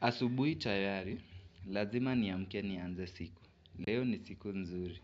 Asubuhi tayari, lazima niamke nianze siku. Leo ni siku nzuri.